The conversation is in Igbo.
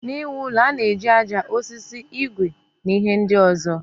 N'iwu ụlọ, a na-eji aja, osisi, igwe na ihe ndị ọzọ.